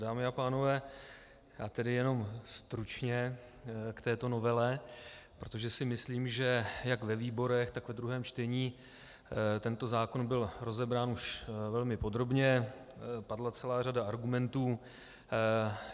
Dámy a pánové, já tedy jenom stručně k této novele, protože si myslím, že jak ve výborech, tak ve druhém čtení tento zákon byl rozebrán už velmi podrobně, padla celá řada argumentů.